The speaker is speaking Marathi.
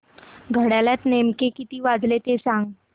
घड्याळात नेमके किती वाजले ते सांग